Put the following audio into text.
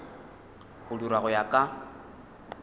go dirwa go ya ka